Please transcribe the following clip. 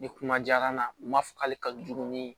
Ni kuma diyar'an na u m'a fɔ k'ale ka jugu ni